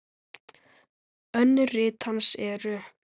Önnur rit hans eru